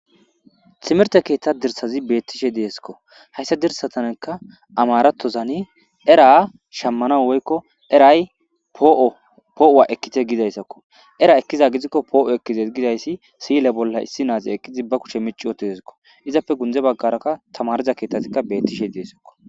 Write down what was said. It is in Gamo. Timirte keetha dirsazi betishe de'esko haysa dirsatanka amarathozani era shamanaw woylo era po'uwa ekite gizaysako era ekiko po'uwa ekides gizaysi si'ile bolla issi nazi eqidi be kushe mici uttidesko izappe gunde baharaka tamariza keethazi neetishe deesiko.